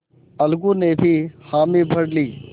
अलगू ने भी हामी भर ली